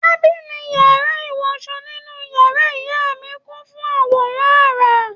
Tábìlì iwọsọ nínú yàrá ìyá mí kun fun àwọ̀rán ara